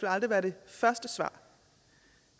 aldrig være det første svar